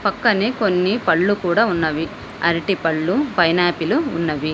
పక్కనే కొన్ని పళ్లు కూడా ఉన్నవి అరటి పళ్ళు పైనాపిలు ఉన్నవి.